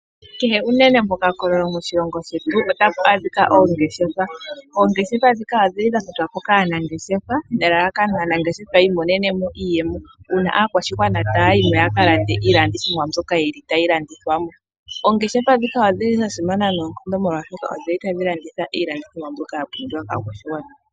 Kehe unene mokakololo moshilongo shetu otapu adhika oongeshefa, oongeshefa dhika ohadhi landithwa po kaanangeshefa nelalakano aanangeshefa yiimonene mo iiyemo uuna aakwashigwana taya yimo yakalande iilandithomwa mbyoka yili tayi landithwa mo. Oongeshefa dhika odhili dhasimana noonkondo molwaashono odhili tadhi landitha iilandithomwa mbyoka yapumbiwa kaakwashigwana.